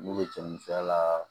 N'u bɛ cɛ min filɛ a la